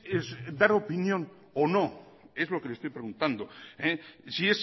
es dar opinión o no es lo que le estoy preguntando si